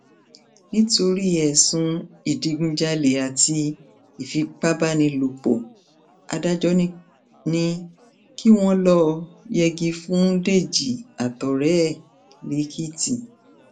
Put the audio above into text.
nítorí ẹsùn ìdígunjalè àti ìfipábánilòpọ adájọ ni ni kí wọn lọọ yẹgi fún dèjì àtọrẹ ẹ lẹkìtì